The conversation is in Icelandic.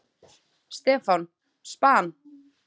Stefán: Span?!